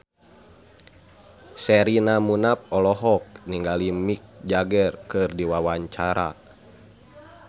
Sherina Munaf olohok ningali Mick Jagger keur diwawancara